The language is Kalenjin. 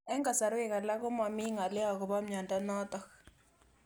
Eng'kasarwek alak ko mami ng'alyo akopo miondo notok